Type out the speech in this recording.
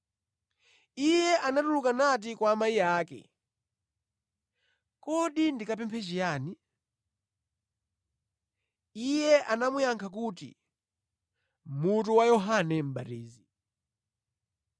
Iye anatuluka nati kwa amayi ake, “Kodi ndikapemphe chiyani?” Iye anamuyankha kuti, “Mutu wa Yohane Mʼbatizi.”